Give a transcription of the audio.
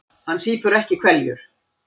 Hann sýpur ekki hveljur.